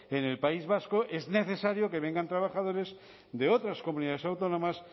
en el país vasco es necesario que vengan trabajadores de otras comunidades autónomas